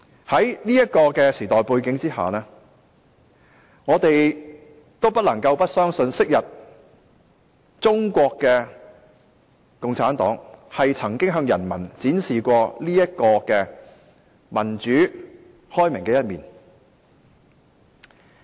在現時這個時代背景之下，我們或許不相信昔日中國共產黨曾經向人民展示如此民主和開明的一面。